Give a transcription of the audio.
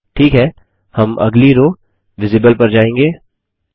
ठीक है हम अगली रो विजिबल पर जाएँगे